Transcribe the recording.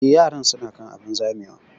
Eh, yaran su na kan abun zamewa